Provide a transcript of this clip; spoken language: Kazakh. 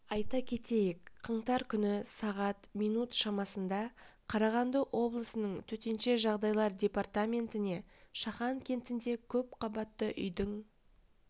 айта кетейік қаңтар күні сағат минут шамасында қарағанды облысының төтенше жағдайлар департаментіне шахан кентінде көпқабатты үйдің